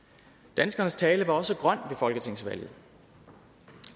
danskernes tale var også grøn ved folketingsvalget